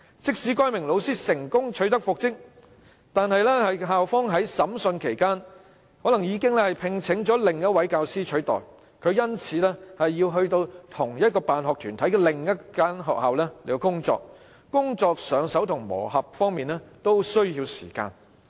即使該名老師最後成功復職，但由於校方在訴訟審理期間已另聘教師取代其職位，他便因而要到同一辦學團體的另一間學校工作，在熟習工作和磨合方面都需要時間。